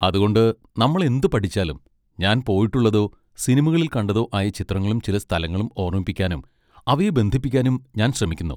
അതുകൊണ്ട് നമ്മൾ എന്ത് പഠിച്ചാലും ഞാൻ പോയിട്ടുള്ളതോ സിനിമകളിൽ കണ്ടതോ ആയ ചിത്രങ്ങളും ചില സ്ഥലങ്ങളും ഓർമ്മിപ്പിക്കാനും അവയെ ബന്ധിപ്പിക്കാനും ഞാൻ ശ്രമിക്കുന്നു.